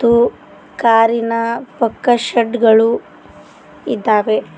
Two car ಇನ ಪಕ್ಕ shed ಗಳು ಇದ್ದಾವೆ.